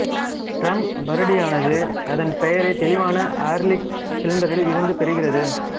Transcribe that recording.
drum வருடியானது அதன் பெயரை தெளிவான ஆர்லிக் சிண்டரில் இருந்து பெறுகிறது